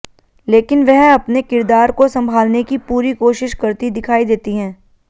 लेकिन वह अपने किरदार को संभालने की पूरी कोशिश करती दिखाई देती हैं